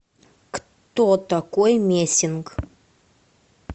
кто такой мессинг